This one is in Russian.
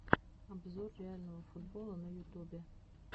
обзор реального футбола на ютубе